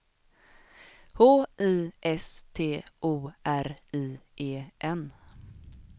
H I S T O R I E N